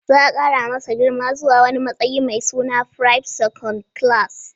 Za a kara masa girma zuwa wani matsayi mai suna privte second class.